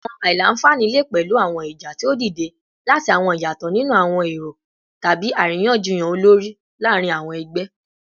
Awọn aila-nfani le pẹlu awọn ija ti o dide lati awọn iyatọ ninu awọn ero tabi ariyanjiyan olori laarin awọn ẹgbẹ